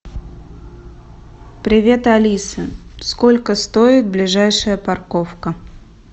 привет алиса сколько стоит ближайшая парковка